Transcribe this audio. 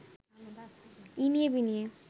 ইনিয়ে-বিনিয়ে